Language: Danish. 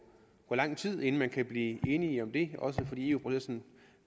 lang tid inden man kan blive enige om det også fordi eu